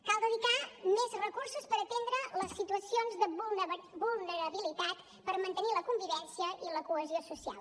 cal dedicar més recursos per atendre les situacions de vulnerabilitat per mantenir la convivència i la cohesió social